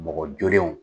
Mɔgɔ jolenw